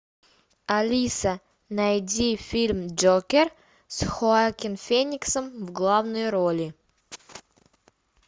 алиса найди фильм джокер с хоакин фениксом в главной роли